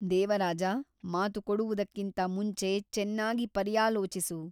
ದೇವರಾಜ ಮಾತು ಕೊಡುವುದಕ್ಕಿಂತ ಮುಂಚೆ ಚೆನ್ನಾಗಿ ಪರ್ಯಾಲೋಚಿಸು.